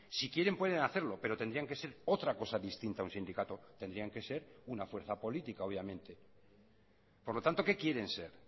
si quieren pueden hacerlo pero tendrían que ser otra cosa distinta a un sindicato tendrían que ser una fuerza política obviamente por lo tanto qué quieren ser